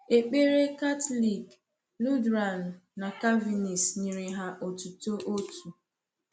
Ekpere Catholic, Lutheran, na Calvinist nyere ha otuto otu.